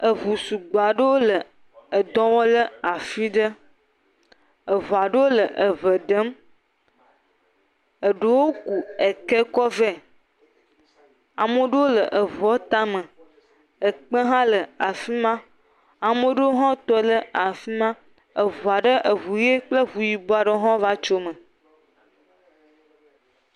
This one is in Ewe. eʋu sugbɔa ɖewo le dɔwɔm le afiɖe eveaɖewo le eʋe ɖem eɖewo ku ekɛ kɔ vɛ amoɖowo le eʋuɔ tame ekpe hã le afima amoɖowo hã tɔɖe afima aʋua ɖe eʋu yi kple ʋu yibɔ ɖowo hã va tsome